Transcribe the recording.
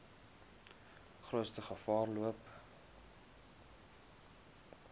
grootste gevaar loop